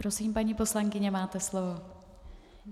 Prosím, paní poslankyně, máte slovo.